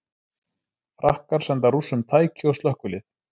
Frakkar senda Rússum tæki og slökkvilið